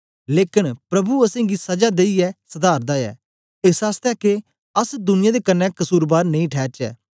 लेकन प्रभु असेंगी सजा देईयै सधारदा ऐ एस आसतै के अस दुनिया दे कन्ने कसुरबार नेई ठैरचै